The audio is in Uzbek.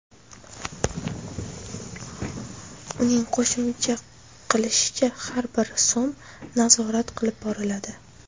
Uning qo‘shimcha qilishicha, har bir so‘m nazorat qilib boriladi.